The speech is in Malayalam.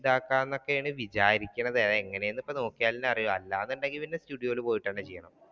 ഇതാക്കാം എന്നൊക്കെയാണ് വിചാരിക്കുന്നെ അതെങ്ങനെയാണെന്നു നോക്കിയാൽ അല്ലെ അറിയൂ അല്ലാതെ